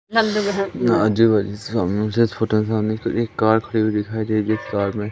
ना आजू बाजू सामने मुझे छोटा सा एक एक कार खड़ी हुई दिखाई दे रही है उस कार मे--